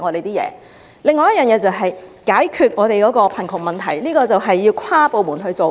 此外，政府須解決香港的貧窮問題，此事需要跨部門處理。